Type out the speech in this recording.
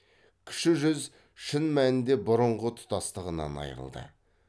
кіші жүз шын мәнінде бұрынғы тұтастығынан айрылды